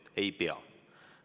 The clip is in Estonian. Ta ei pea andma.